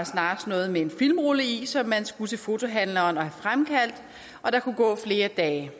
snarere noget med en filmrulle i som man skulle til fotohandleren med og have fremkaldt og der kunne gå flere dage